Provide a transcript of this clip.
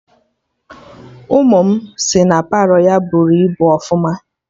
Ụmụ m si na Palọ ya bụrụ ibu ọfụma